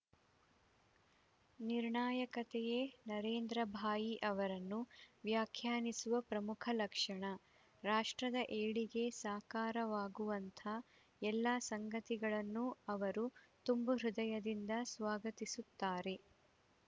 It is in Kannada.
ನಿರ್ಣಾಯಕತೆಯೇ ನರೇಂದ್ರ ಭಾಯಿ ಅವರನ್ನು ವ್ಯಾಖ್ಯಾನಿಸುವ ಪ್ರಮುಖ ಲಕ್ಷಣ ರಾಷ್ಟ್ರದ ಏಳಿಗೆ ಸಾಕಾರವಾಗುವಂಥ ಎಲ್ಲ ಸಂಗತಿಗಳನ್ನೂ ಅವರು ತುಂಬು ಹೃದಯದಿಂದ ಸ್ವಾಗತಿಸುತ್ತಾರೆ